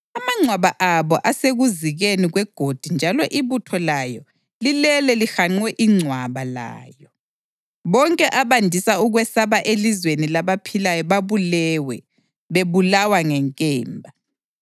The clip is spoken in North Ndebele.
Amangcwaba abo asekuzikeni kwegodi njalo ibutho layo lilele lihanqe ingcwaba layo. Bonke abandisa ukwesaba elizweni labaphilayo babulewe, bebulawa ngenkemba.